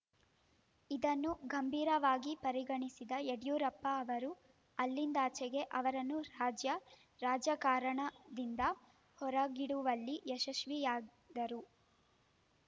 ಇದನ್ನು ಗಂಭೀರವಾಗಿ ಪರಿಗಣಿಸಿದ ಯಡಿಯೂರಪ್ಪ ಅವರು ಅಲ್ಲಿಂದಾಚೆಗೆ ಅವರನ್ನು ರಾಜ್ಯ ರಾಜಕಾರಣದಿಂದ ಹೊರಗಿಡುವಲ್ಲಿ ಯಶಸ್ವಿಯಾದರು